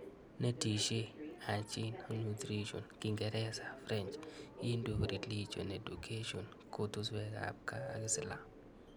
Netesyi, Hygiene, ak Nutrition, Kingeresa, French, Hindu Religion Education, kotishwekab gaa ak Islam